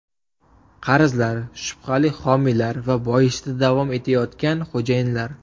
Qarzlar, shubhali homiylar va boyishda davom etayotgan xo‘jayinlar.